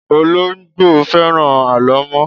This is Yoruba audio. Ológbò fẹ́ràn alo mo